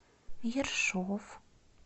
ершов